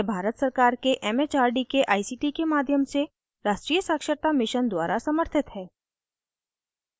यह भारत सरकार के it it आर डी के आई सी टी के माध्यम से राष्ट्रीय साक्षरता mission द्वारा समर्थित है